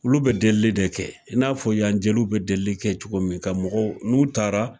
Olu bɛ deli de kɛ i n'a fɔ yan jeliw bɛ deli kɛ cogo min ka mɔgɔ n'u taara.